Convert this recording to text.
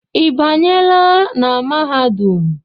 I banyela na mahadum?